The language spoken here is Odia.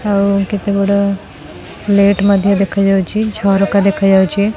ଆଉ କେତେଗୁଡେ଼ ଲେଟ୍ ମଧ୍ୟ ଦେଖାଯାଉଛି ଝରକା ଦେଖାଯାଉଛି।